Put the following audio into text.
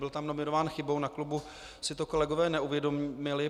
Byl tam nominován chybou, na klubu si to kolegové neuvědomili.